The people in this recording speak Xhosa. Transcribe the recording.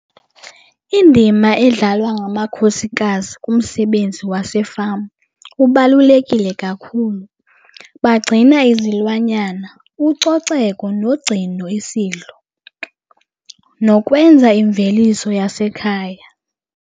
Indima edlalwa ngamakhosikazi kumsebenzi wasefama ubalulekile kakhulu. Bagcina izilwanyana, ucoceko nogcino isidlo nokwenza imveliso yasekhaya.